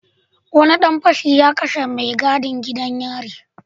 Wani dan fashi ya kashe mai gadin gidan yari